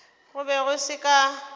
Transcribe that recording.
go be go se ka